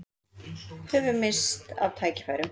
Höfum misst af tækifærum